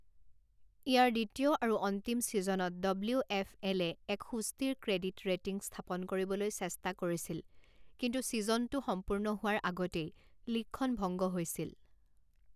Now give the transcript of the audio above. ইয়াৰ দ্বিতীয় আৰু অন্তিম ছিজনত ডব্লিউ এফ এলে এক সুস্থিৰ ক্ৰেডিট ৰেটিং স্থাপন কৰিবলৈ চেষ্টা কৰিছিল, কিন্তু ছিজনটো সম্পূৰ্ণ হোৱাৰ আগতেই লীগখন ভংগ হৈছিল।